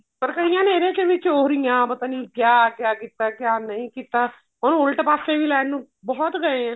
ਪਰ ਕਾਇਆਂ ਨੇ ਇਹਦੇ ਚ ਵੀ ਚੋਰੀਆਂ ਪਤਾ ਨੀ ਕਿਆ ਕਿਆ ਕੀਤਾ ਕਿਆ ਨਹੀਂ ਕੀਤਾ ਹਾਂ ਉਲਟ ਪਾਸੇ ਵੀ ਲੈਣ ਨੂੰ ਬਹੁਤ ਗਏ ਏ